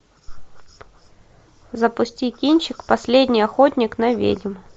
запусти кинчик последний охотник на ведьм